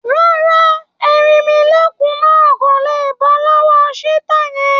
Rárá, erinmilókùn náà kò lé bọ́ lọ́wọ́ cheetah yẹn